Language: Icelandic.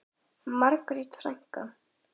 Margrét frænka.